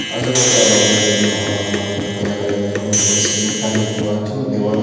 আশেপাশে আরো অনেকজন মানব মানুষজন কে দেখা যাচ্ছে এবং উপরে সিলিং ফ্যান দেখতে পাওয়া যাচ্ছে এবং দেওয়ালে--